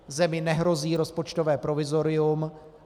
Zemi nehrozí rozpočtové provizorium.